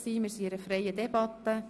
Wir führen eine freie Debatte.